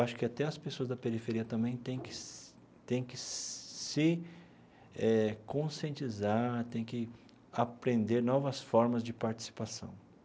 Acho que até as pessoas da periferia também têm que se têm que se eh conscientizar, têm que aprender novas formas de participação.